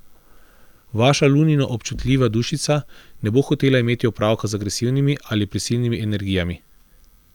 Vaša lunino občutljiva dušica ne bo hotela imeti opravka z agresivnimi ali prisilnimi energijami.